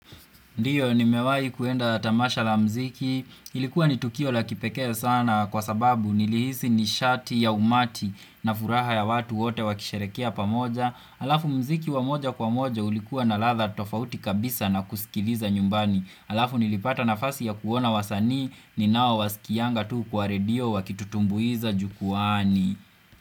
Ndiyo nimewai kwenda tamasha la mziki. Ilikuwa ni tukio la kipekee sana kwa sababu nilihisi nishati ya umati na furaha ya watu wote wakisherehekea pamoja. Alafu mziki wa moja kwa moja ulikuwa na latha tofauti kabisa na kusikiliza nyumbani. Alafu nilipata nafasi ya kuona wasani ninaowasikianga tu kwa radio wakitutumbuiza jukuani.